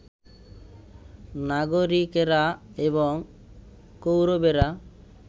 নাগরিকেরা, এবং কৌরবেরা